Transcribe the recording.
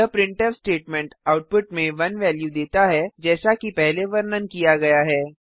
यह printf statement output में 1 value देता है जैसा कि पहले वर्णन किया गया है